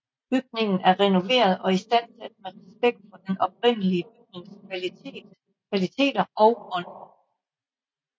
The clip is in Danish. Bygningen er renoveret og istandsat med respekt for den oprindelige bygnings kvaliteter og ånd